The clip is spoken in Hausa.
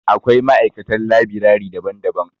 Akwai ma'aikatan labirari daban-daban.